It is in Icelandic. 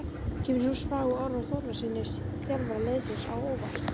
Kemur sú spá Orra Þórðarsyni, þjálfara liðsins, á óvart?